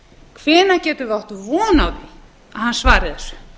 hvenær getum við átt von á að hann svari þessu